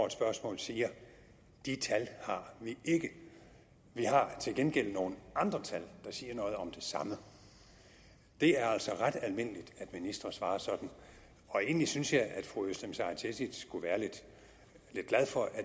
et spørgsmål siger de tal har vi ikke vi har til gengæld nogle andre tal der siger noget om det samme det er altså ret almindeligt at ministre svarer sådan og egentlig synes jeg at fru özlem sara cekic skulle være lidt glad for at